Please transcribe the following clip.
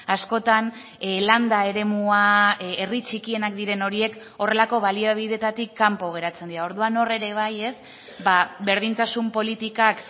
askotan landa eremua herri txikienak diren horiek horrelako baliabideetatik kanpo geratzen dira orduan hor ere bai berdintasun politikak